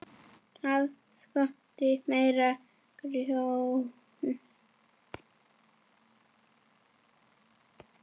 Það skorti meira grjót.